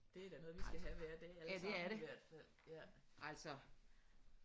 Det er da noget vi skal have hver dag alle sammen i hvert fald ja